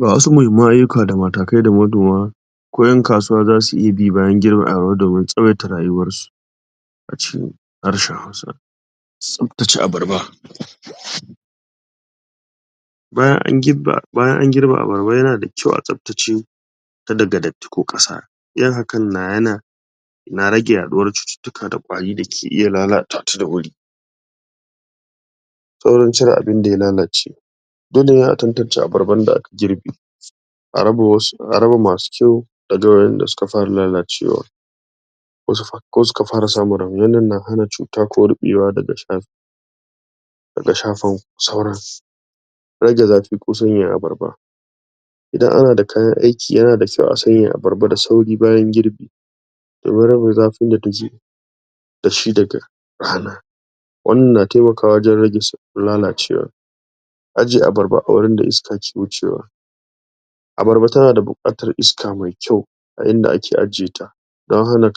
ga wasu muhimman ayyuka da matakai da manoma ko 'yan kasuwa zasu iya bi bayan girbin.....? a cikin harshen hausa tsaftace abarba bayan an gibbe bayan an girbe abarba yana da kyau a tsaftace ta daga datti ko ƙasa? na rage yaɗuwar cututtuka da ƙwari dake iya lalata ta da wuri tsaurin cire abinda ya lalace dole ne a tantance abarban da aka girbe a raba wasu a raba masu kyau?.... suka fara lalacewa ko s ko suka fara samun rauni wannan na hana cuta ko rubewa daga daga shafan sauran rage zafi ko sanyaya abarba idan ana da kayan aiki yana da kyau a sanyaya abarba bayan girbi domin rage zafin da taji dashi da? wannan na taimakawa wajen rage lalacewa ajiye abarba a wurin da iska ke wucewa abarba tanada buƙatar iska mai kyau a inda ake ajiye ta? dan hana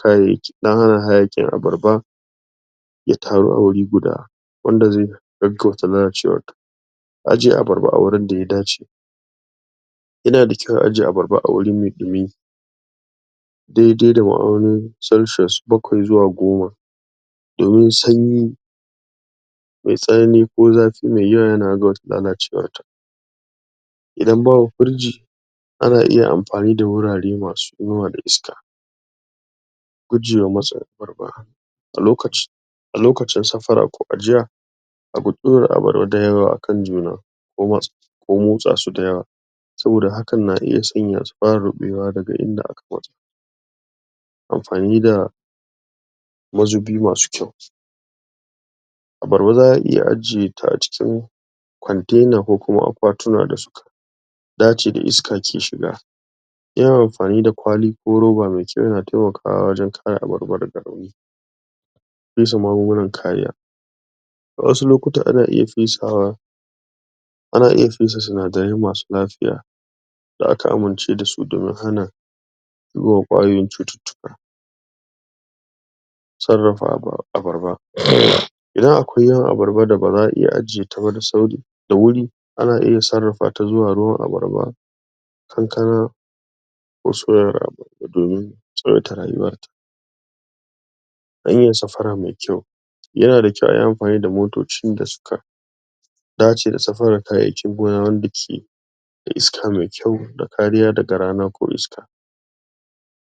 hayaƙin abarba ya taru a wuri guda wanda zai gaggauta lalacewatta jiye abarba a wurinda ya dace yana da kyau a ajiye abarba a wuri mai ɗumi dai dai da ma'aunin celcius bakwai zuwa goma domin sanyi mai tsanani ko zafi mai yawa yana.....?......lalacewar ta idan babu firji ana iya amfani da wurare masu inuwa da iska gujewa.....? a lokaci a lokacin safara ko ajiya guji ɗora abarba dayawa a kan juna? ko motsa su dayawa saboda hakan na iya sanya su ƙara ruɓewa daga inda..? amfani da mazubi masu kyau abarba za'a iya ajiye ta a cikin kwantena ko kuma akwatuna da suk ɗaci da iska ke shiga yin amfani da kwali ko roba mai kyau yana taimakawa wajen kare abarba daga rauni fesa magungunan kariya a wasu lokutan ana iya fesawa ana iya fesa sinadarai masu lafiya da aka amince da su domin hana zuwan ƙwayoyin cututtuka sarrafa aba abarba uhmm idan akwai yawan abarba da baza'a iya ajiye ta ba da sauri da wuri na iya sarrafa ta zuwa ruwan abarba kankana? domin tsawaita rayuwarta? yana da kyau ayi amfani da motocin da suka dace da safarar kayan gona wanda ke da iska mai kyau da kariya daga rana ko iska